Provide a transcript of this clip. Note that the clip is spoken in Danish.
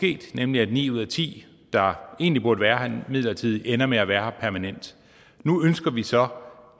nemlig at ni ud af ti der egentlig burde være her midlertidigt ender med at være her permanent nu ønsker vi så